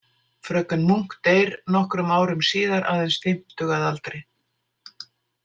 Fröken Munk deyr nokkrum árum síðar, aðeins fimmtug að aldri.